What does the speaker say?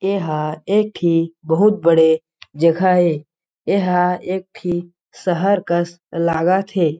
एह एक ठी बहुत बड़े जगह हे एह एक ठी शहर कस लागत हे।